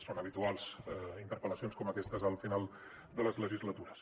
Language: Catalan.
són habituals interpel·lacions com aquestes al final de les legislatures